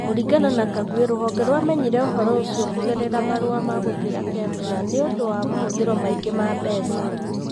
Kũringana na Kagwe, rũhonge rwamenyire ũhoro ũcio kũgerera marũa ma gũtuĩra Kemsa nĩ ũndũ wa mahũthĩro maingĩ ma mbeca.